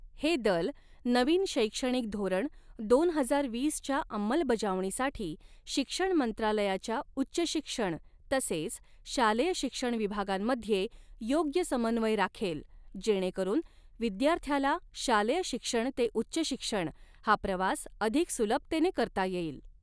हे दल नवीन शैक्षणिक धोरण दोन हजार वीसच्या अंमलबजावणीसाठी शिक्षण मंत्रालयाच्या उच्चशिक्षण तसेच शालेय़ शिक्षण विभागांमध्ये योग्य समन्वय राखेल, जेणेकरून विद्यार्थ्याला शालेय शिक्षण ते उच्च शिक्षण हा प्रवास अधिक सुलभतेने करता येईल.